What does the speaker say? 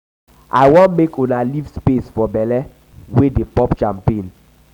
i wan make una leave space for bele we dey pop champagne